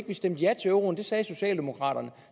vi stemte ja til euroen det sagde socialdemokraterne